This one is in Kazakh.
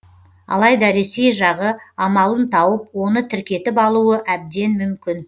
алайда ресей жағы амалын тауып оны тіркетіп алуы әбден мүмкін